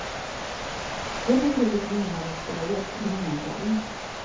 Vem eller vilka som är inblandade spelar egentligen ingen roll.